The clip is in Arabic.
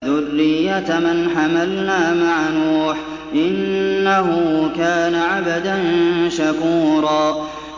ذُرِّيَّةَ مَنْ حَمَلْنَا مَعَ نُوحٍ ۚ إِنَّهُ كَانَ عَبْدًا شَكُورًا